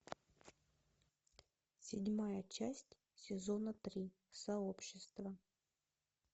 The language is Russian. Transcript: седьмая часть сезона три сообщество